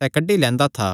सैह़ कड्डी लैंदा था